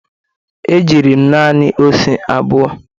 e jiri m nani ose abụo.